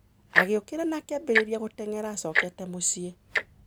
Agĩũkĩra na akĩambĩrĩria gũteng'era acokete mũciĩ.